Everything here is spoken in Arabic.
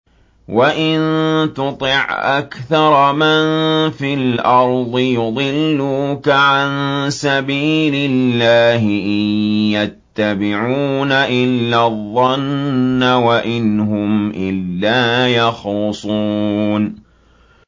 وَإِن تُطِعْ أَكْثَرَ مَن فِي الْأَرْضِ يُضِلُّوكَ عَن سَبِيلِ اللَّهِ ۚ إِن يَتَّبِعُونَ إِلَّا الظَّنَّ وَإِنْ هُمْ إِلَّا يَخْرُصُونَ